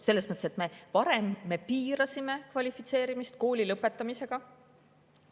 Selles mõttes, et me varem piirasime kvalifitseerumist kooli lõpetamise.